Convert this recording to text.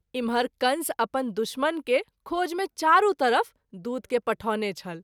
इमहर कंस अपन दुश्मन के खोज मे चारू तरफ दूत के पठौने छल।